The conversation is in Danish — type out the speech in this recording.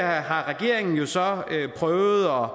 har regeringen jo så prøvet at